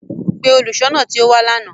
Pe oluṣọọna ti o wa làná!